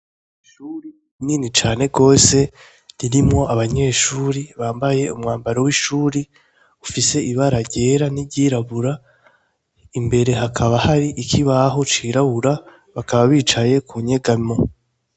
Ishuri rinini cane gose ririmwo abanyeshure bambaye umwambaro w'ishure ufise ibara ryera ni ryirabura imbere hakaba hari ikibaho cirabura bicaye kunyegamo.